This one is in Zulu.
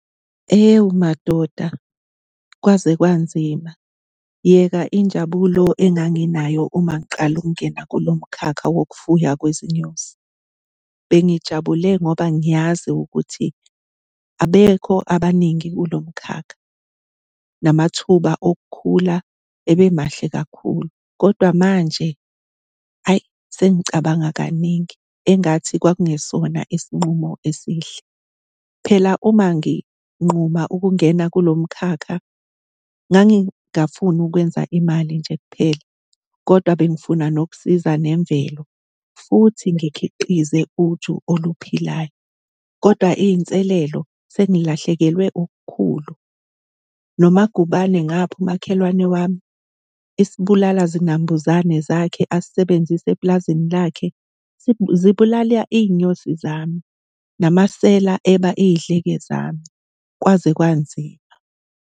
Ewu madoda, kwaze kwanzima. Yeka injabulo enganginayo uma ngiqala ukungena kulo mkhakha wokufuya kwezinyosi. Bengijabule ngoba ngiyazi ukuthi abekho abaningi kulo mkhakha, namathuba okukhula ebe mahle kakhulu kodwa manje, ayi, sengicabanga kaningi engathi kwakungesona isinqumo esihle. Phela uma nginquma ukungena kulo mkhakha ngangingafuni ukwenza imali nje kuphela kodwa bengifuna nokusiza nemvelo futhi ngikhiqize uju oluphilayo, kodwa iy'nselelo sengilahlekelwe okukhulu. NoMagubane ngapha, umakhelwane wami, isibulala-zinambuzane zakhe asisebenzisa epulazini lakhe zibulala iy'nyosi zami, namasela eba iy'dleke zami. Kwaze kwanzima.